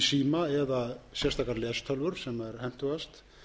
síma eða sérstakar lestölvur sem er hentugast